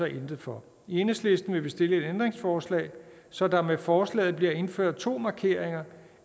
intet for i enhedslisten vil vi stille et ændringsforslag så der med forslaget bliver indført to markeringer